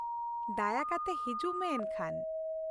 ᱫᱟᱭᱟ ᱠᱟᱛᱮ, ᱦᱤᱡᱩᱜ ᱢᱮ ᱮᱱᱠᱷᱟᱱ ᱾